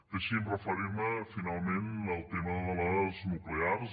deixin me referir me finalment al tema de les nuclears